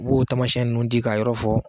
U b'o taamasiyɛn ninnu di ka yɔrɔ fɔ